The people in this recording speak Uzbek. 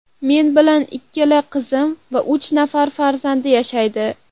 Men bilan ikkala qizim va uch nafar farzandi yashaydi.